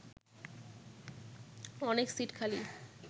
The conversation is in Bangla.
অনেক সিট খালি